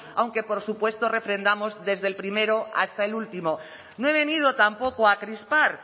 aunque por supuesto refrendamos desde el primero hasta el último no he venido tampoco a crispar